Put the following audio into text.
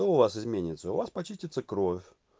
что у вас изменится у вас почиститься кровь